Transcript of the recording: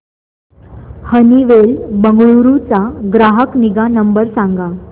Honeywell Bengaluru चा ग्राहक निगा नंबर सांगा